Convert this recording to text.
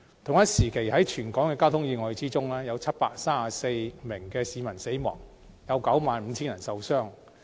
同時，在全港交通意外中，有734名市民死亡，以及 95,000 人受傷。